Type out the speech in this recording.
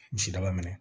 Misidaba minɛ